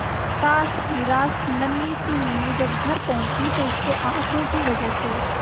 हताश निराश नन्ही सी मीनू जब घर पहुंची तो उसके आंसुओं की वजह से